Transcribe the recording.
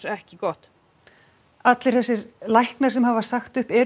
ekki gott allir þessir læknar sem hafa sagt upp eru